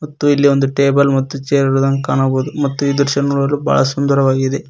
ಮತ್ತು ಇಲ್ಲಿ ಒಂದು ಟೇಬಲ್ ಮತ್ತು ಚೇರ್ ಇರುದನ್ನು ಕಾಣಬಹುದು ಮತ್ತು ಇದರ ಬಾಳ ಸುಂದರವಾಗಿದೆ.